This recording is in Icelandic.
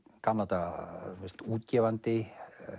gamla daga útgefandi